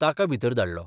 ताका भितर धाडलो.